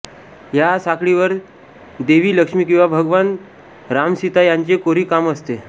या साखळीवर देवी लक्ष्मी किंवा भगवान रामसीता यांचे कोरीव काम असते